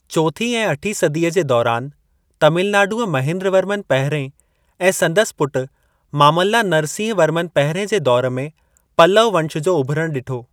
चोथीं ऐं अठीं सदीअ जे दौरानि, तमिलनाडुअ महेंद्रवर्मन पहिरियें ऐं संदसि पुट मामल्ला नरसिंहवर्मन पहिरियें जे दौर में पल्लव वंश जो उभिरणु ॾिठो।